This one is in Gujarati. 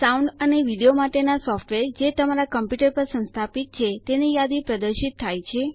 સાઉન્ડ અને વિડીયો માટેના સોફ્ટવેર જે તમારા કમ્પ્યુટર પર સંસ્થાપિત છે તેની યાદી પ્રદર્શિત થાય છે